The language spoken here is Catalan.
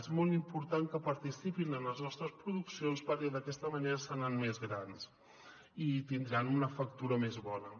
és molt important que participin en les nostres produccions perquè d’aquesta manera seran més grans i tindran una factura més bona